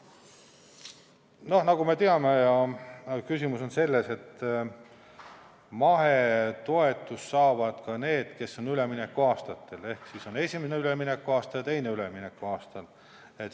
No nagu me teame, küsimus on selles, et mahetoetust saavad ka need, kes on üleminekuaastatel, ehk siis on esimene üleminekuaasta ja teine üleminekuaasta.